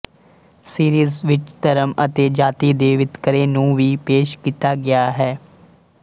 series ਵਿੱਚ ਧਰਮ ਅਤੇ ਜਾਤੀ ਦੇ ਵਿਤਕਰੇ ਨੂੰ ਵੀ ਪੇਸ਼ ਕੀਤਾ ਗਿਆ ਹੈ